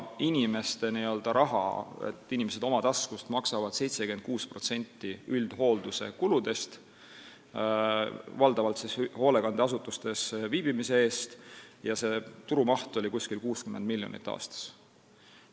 Inimesed maksavad oma taskust 76% üldhoolduse kuludest, valdavalt siis hoolekandeasutuses viibimise eest, ja see maht oli umbes 60 miljonit aastas.